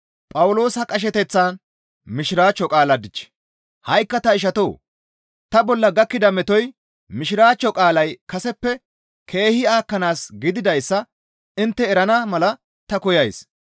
Ha7ikka ta ishatoo! Ta bolla gakkida metoy Mishiraachcho qaalay kaseppe keehi aakkanaas gididayssa intte erana mala ta koyays.